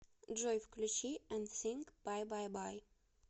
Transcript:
джой включи энсинк бай бай бай